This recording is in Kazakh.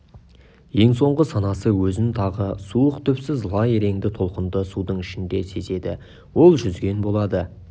ең соңғы санасы өзін тағы суық түпсіз лай реңді толқынды судың ішінде сезеді ол жүзген болады